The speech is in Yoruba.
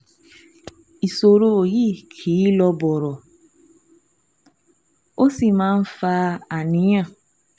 Ìṣòro yìí kì í lọ bọ̀rọ̀, ó sì máa ń fa àníyàn